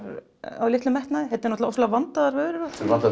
af litlum metnaði þetta eru allt ofsalega vandaðar vörur og